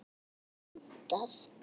Stundum bara rúntað.